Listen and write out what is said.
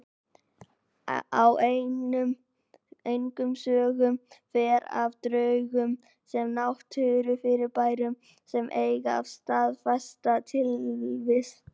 En engum sögum fer af draugum sem náttúrufyrirbærum sem eiga sér staðfesta tilvist.